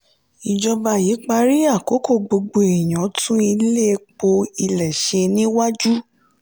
ìjọba yí parí àkókò gbogbo èèyàn tún ilé epo ilẹ̀ ṣe níwájú.